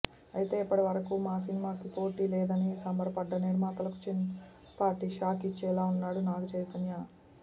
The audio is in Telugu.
అయితే ఇప్పటివరకు మా సినిమాకి పోటి లేదని సంబరపడ్డ నిర్మాతలకు చిన్నిపాటి షాక్ ఇచ్చేలా ఉన్నాడు నాగచైతన్య